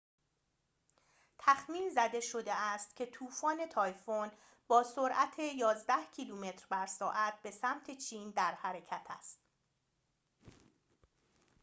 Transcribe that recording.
تخمین زده شده است که طوفان تایفون با سرعت یازده کیلومتر بر ساعت به سمت چین در حرکت است